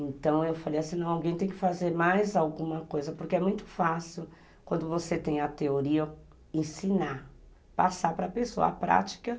Então, eu falei assim, alguém tem que fazer mais alguma coisa, porque é muito fácil, quando você tem a teoria, ensinar, passar para a pessoa a prática.